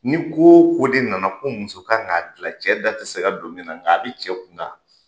Ni ko o ko de nana ko muso kan k'a dilan cɛ da tɛ se ka don min na nka a bɛ cɛ kunkan